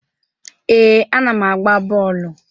Ee, ana m agba bọọlụ.